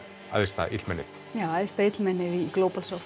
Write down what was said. æðsta illmennið já æðsta illmennið í